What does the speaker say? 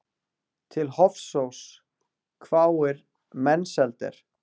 Til Hofsóss, hváir Mensalder.